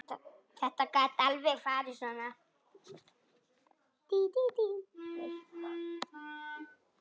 Þetta gat alveg farið svona.